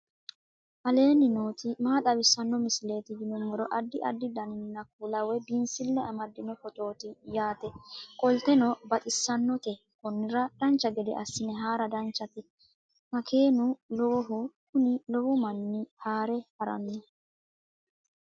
aleenni nooti maa xawisanno misileeti yinummoro addi addi dananna kuula woy biinsille amaddino footooti yaate qoltenno baxissannote konnira dancha gede assine haara danchate makeenu lowohu kuni lowo manna haare harannoho